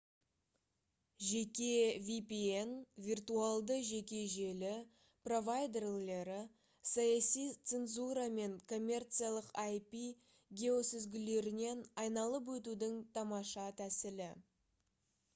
жеке vpn виртуалды жеке желі провайдерлері — саяси цензура мен коммерциялық ip геосүзгілерінен айналып өтудің тамаша тәсілі